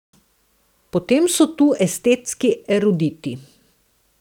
Potem so tu estetski eruditi.